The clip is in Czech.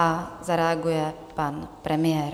A zareaguje pan premiér.